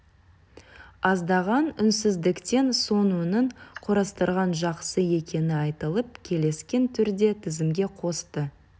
аздаған үнсіздіктен соң оның құрастырған жақсы екені айтылып келіскен түрде тізімге қосты